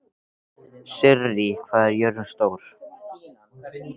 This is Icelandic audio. Sirrí, hvað er jörðin stór?